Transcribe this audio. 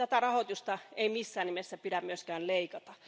Tätä rahoitusta ei missään nimessä pidä myöskään leikata.